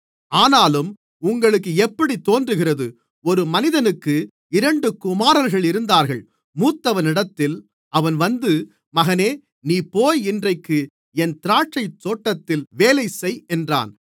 ஆனாலும் உங்களுக்கு எப்படித் தோன்றுகிறது ஒரு மனிதனுக்கு இரண்டு குமாரர்கள் இருந்தார்கள் மூத்தவனிடத்தில் அவன் வந்து மகனே நீ போய் இன்றைக்கு என் திராட்சைத்தோட்டத்தில் வேலைசெய் என்றான்